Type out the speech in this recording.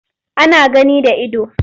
Ana gani da ido.